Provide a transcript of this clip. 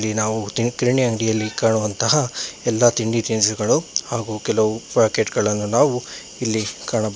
ನಾವು ಕಿರಾಣಿ ಅಂಗಡಿಯಲ್ಲಿ ಕಾಣುವಂತಹ ಎಲ್ಲಾ ತಿಂಡಿ ತಿನಿಸುಗಳು ಹಾಗು ಕೆಲವು ಪ್ಯಾಕೆಟ್ ಗಳನ್ನ ನಾವು ಇಲ್ಲಿ ಕಾಣಬಹು--